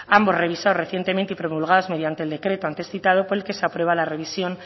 ambos revisados recientemente y promulgados mediante el decreto antes citado por el que se aprueba la revisión